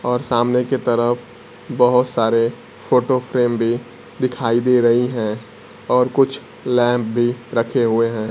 और सामने की तरफ बहोत सारे फोटो फ्रेम भी दिखाई दे रही है और कुछ लैंप भी रखे हुए हैं।